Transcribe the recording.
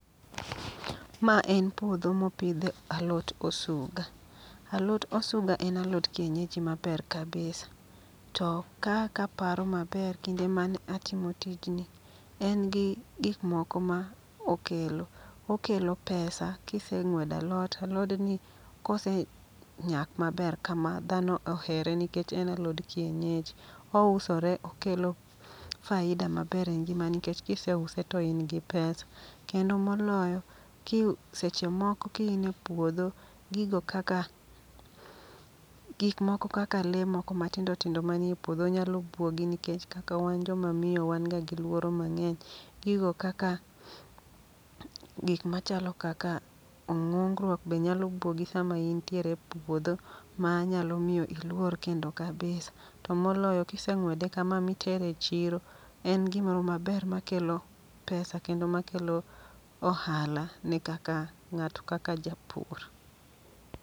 Ma en puodho mopidhe alot osuga, alot osuga en alot kienyeji maber kabisa. To ka kaparo maber kinde mane atimo tijni, en gi gikmoko ma okelo. Okelo pesa kiseng'wedo alot, alodni kose nyak maber kama dhano ohere nikech en alod kienyeji. Ousore okelo faida maber e ngima nikech kise use to in gi pesa. Kendo moloyo kiu seche moko ki in en puodho, gigo kaka, gik moko kaka le moko matindo manie puodho nyalo buogi. Nikech kaka wan joma miyo wan ga gi luoro mang'eny. Gigo kaka, gik machalo kaka ong'ongruok be nyalo buogi sama intiere e puodho. Ma nyalo miyo iluor kendo kabisa, to moloyo kiseng'wede kama mitere e chiro. En gimoro maber makelo pesa kendo makelo ohala ne kaka ng'ato kaka japur.